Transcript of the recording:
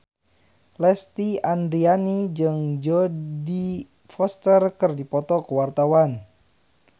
Lesti Andryani jeung Jodie Foster keur dipoto ku wartawan